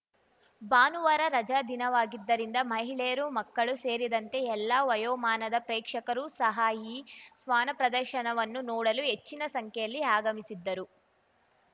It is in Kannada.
ಭಾನುವಾರ ರಜಾ ದಿನವಾಗಿದ್ದರಿಂದ ಮಹಿಳೆಯರು ಮಕ್ಕಳು ಸೇರಿದಂತೆ ಎಲ್ಲಾ ವಯೋಮಾನದ ಪ್ರೇಕ್ಷಕರು ಸಹ ಈ ಶ್ವಾನಪ್ರದರ್ಶನವನ್ನು ನೋಡಲು ಹೆಚ್ಚಿನ ಸಂಖ್ಯೆಯಲ್ಲಿ ಆಗಮಿಸಿದ್ದರು